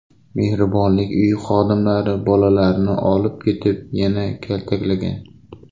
Mehribonlik uyi xodimlari bolalarni olib ketib, yana kaltaklagan.